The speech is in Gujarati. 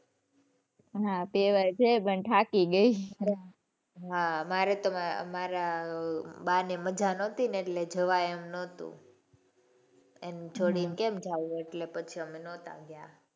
હાં બે વાર જઇ આવી પણ થાકી ગઈ. હાં મારે તો મારા બા ને મજા નોતી એટલે જવાય એમ નહોતું. એને છોડી ને કેમ જવું એટલે પછી અમે નહોતા ગયા.